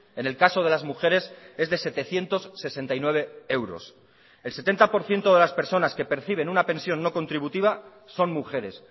en el caso de las mujeres es de setecientos sesenta y nueve euros el setenta por ciento de las personas que perciben una pensión no contributiva son mujeres